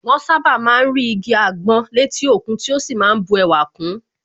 Wọ́n sàbá má ń rí igi àgbọn létí òkun tí ó sì má ń bu ẹwà kun